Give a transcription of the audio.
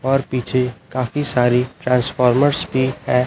और पीछे काफी सारी ट्रांसफॉर्मरस भी हैं।